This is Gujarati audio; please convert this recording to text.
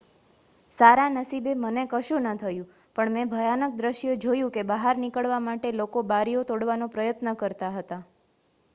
"""સારા નસીબે મને કશું ન થયું પણ મેં ભયાનક દૃશ્ય જોયું કે બહાર નીકળવા માટે લોકો બારીઓ તોડવાનો પ્રયત્ન કરતા હતા.